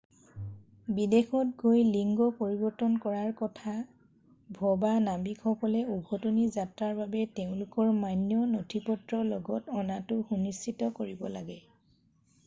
বিদেশত গৈ লিঙ্গ পৰিৱৰ্তন কৰাৰ কথা ভবা নাবিকসকলে উভতনি যাত্ৰাৰ বাবে তেওঁলোকৰ মান্য নথিপত্ৰ লগত অনাটো সুনিশ্চিত কৰিব লাগে